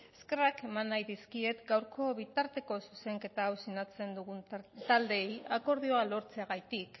eskerrak eman nahi dizkiet gaurko bitarteko zuzenketa hau sinatzen dugun taldeei akordioa lortzeagatik